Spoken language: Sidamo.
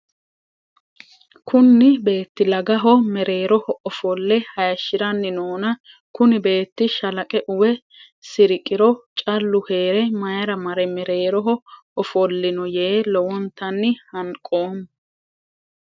Kunni beeti lagaho mereeroho ofole hayishiranni noonna kunni beeti shalaqe uwe siriqiro callu heere mayira mare mereeroho ofolino yee lowontanni hanqoomo.